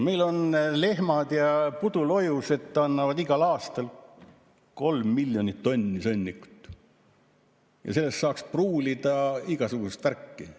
Meil lehmad ja pudulojused annavad igal aastal 3 miljonit tonni sõnnikut, millest saaks pruulida igasugust värki.